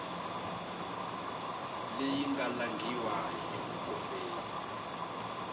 leyi nga langhiwa hi mukomberi